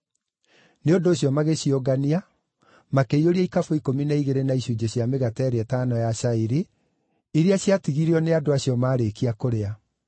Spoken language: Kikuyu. Nĩ ũndũ ũcio magĩciũngania, makĩiyũria ikabũ ikũmi na igĩrĩ na icunjĩ cia mĩgate ĩrĩa ĩtano ya cairi, iria ciatigirio nĩ andũ acio maarĩkia kũrĩa.